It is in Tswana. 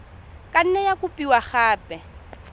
ka nne ya kopiwa gape